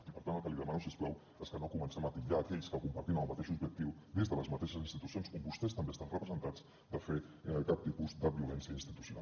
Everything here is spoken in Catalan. i per tant el que li demano si us plau és que no comencem a titllar aquells que compartim el mateix objectiu des de les mateixes institucions on vostès també estan representats de fer cap tipus de violència institucional